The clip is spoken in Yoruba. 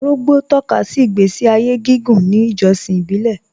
Òrògbó tọ̀kàsí ìgbèsí ayé gígùn ní ìjọ̀ṣìn ìbílẹ̀